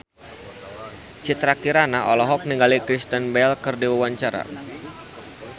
Citra Kirana olohok ningali Kristen Bell keur diwawancara